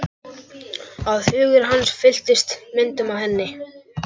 Að hugur hans fylltist myndum af henni.